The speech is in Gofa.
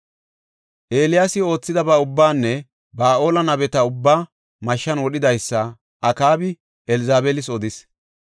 Eeliyaasi oothidaba ubbaanne Ba7aale nabeta ubbaa mashshan wodhidaysa Akaabi Elzabeelis odis.